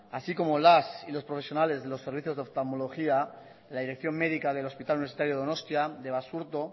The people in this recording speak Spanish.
así como las y los profesionales del servicio de oftalmología la dirección médica del hospital universitario donostia de basurto